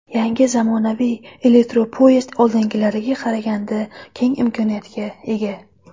Yangi zamonaviy elektropoyezd oldingilariga qaraganda keng imkoniyatga ega.